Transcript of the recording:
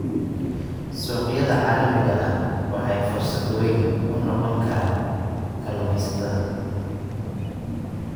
Suuqyada caalamiga ah waxay fursad weyn u noqon karaan kalluumaysatada.